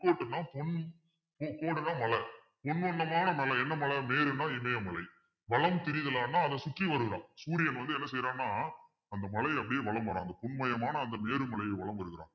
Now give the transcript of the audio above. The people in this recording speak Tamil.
பொற்கோட்டுன்னா, பொன் கூடுனா மலை பொன் வண்ணமான மலை என்ன மலை மேருன்னா இமயமலை அதை சுற்றி வருவான் சூரியன் வந்து என்ன செய்றான்னா அந்த மலையை அப்படியே வலம் வரான் அந்த பொன்மயமான அந்த மேரு மலையைவலம் வருகிறான்